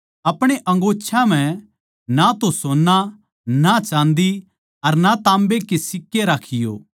अपणे अंगोच्छां म्ह ना तो सोन्ना ना चाँदी अर ना ताम्बा राखियो